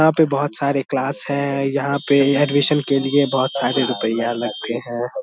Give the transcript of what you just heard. यहां पे बहुत सारे क्लास है यहां पे एडमिशन के लिए बहुत सारे रुपैया लगते हैं।